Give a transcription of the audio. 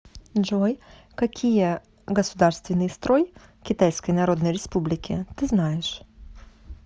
джой какие государственный строй китайской народной республики ты знаешь